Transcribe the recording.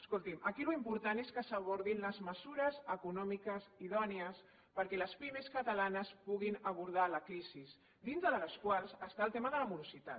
escolti’m aquí l’important és que s’abordin les mesures econòmiques idònies perquè les pimes catalanes puguin abordar la crisi dintre de les quals hi ha el tema de la morositat